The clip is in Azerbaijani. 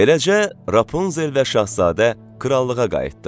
Beləcə, Rapunzel və Şahzadə krallığa qayıtdı.